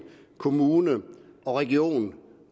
kommunen og regionen